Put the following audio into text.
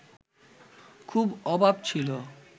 খুব অভাব ছিল